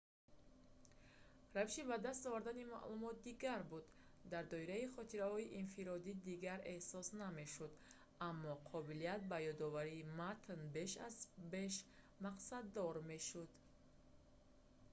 равиши ба даст овардани маълумот дигар буд дар доираи хотираҳои инфиродӣ дигар эҳсос намешуд аммо қобилияти ба ёдоварии матн беш аз беш мақсаддор мешуд